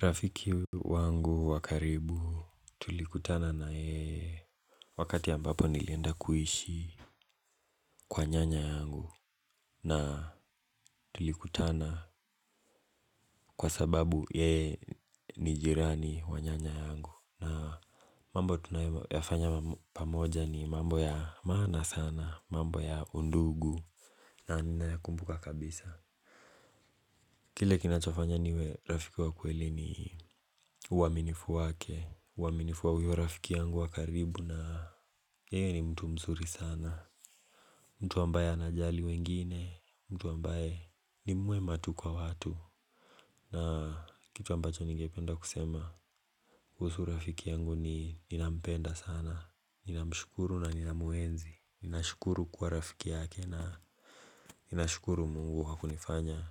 Rafiki wangu wakaribu tulikutana na yeye. Wakati ambapo nilienda kuishi kwa nyanya yangu na tulikutana kwa sababu yeye ni jirani wa nyanya yangu. Na mambo tunayoyafanya pamoja ni mambo ya maana sana mambo ya undugu. Na nina ya kumbuka kabisa. Kile kinachofanya niwe rafiki wakweli ni uwaminifu wake. Uwaminifu wahuyo rafiki yangu wakaribu na yeye ni mtu mzuri sana. Mtu ambaye anajali wengine mtu ambaye nimwema tu kwa watu. Na kitu ambacho ningependa kusema kuhusu rafiki yangu ni ninampenda sana. Ninamshukuru na ninamuenzi. Ninashukuru kuwa rafiki yake na ninashukuru mungu hakunifanya